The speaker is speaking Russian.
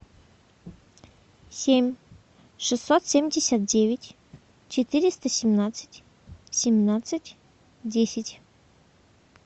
семь шестьсот семьдесят девять четыреста семнадцать семнадцать десять